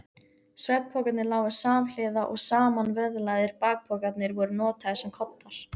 Svefnpokarnir lágu samhliða og samanvöðlaðir bakpokarnir voru notaðir sem koddar.